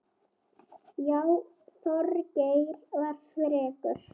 Já, Þorgeir var frekur.